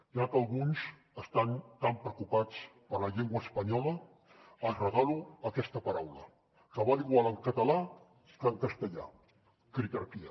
ja que alguns estan tan preocupats per la llengua espanyola els regalo aquesta paraula que val igual en català que en castellà critarquia